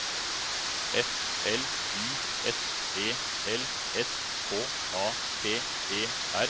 F L Y S E L S K A P E R